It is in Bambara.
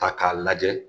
Ta k'a lajɛ